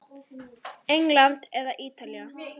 England eða Ítalía?